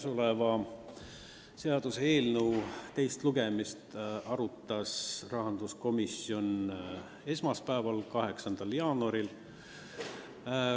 Selle seaduseelnõu teiseks lugemiseks ettevalmistamist arutas rahanduskomisjon esmaspäeval, 8. jaanuaril.